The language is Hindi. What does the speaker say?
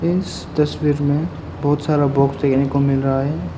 इस तस्वीर में बहुत सारा बॉक्स देखने को मिल रहा है।